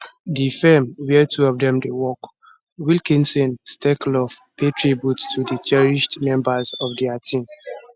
di firm wia two of dem dey work wilkinson stekloff pay tribute to di cherished members of dia team